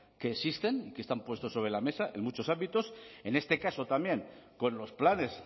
que existen que están puestos sobre la mesa en muchos ámbitos en este caso también con los planes